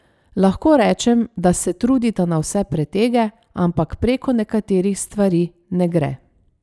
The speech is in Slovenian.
Lahko rečem, da se trudita na vse pretege, ampak preko nekaterih stvari ne gre.